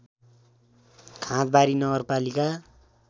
खाँदबारी नगरपालिका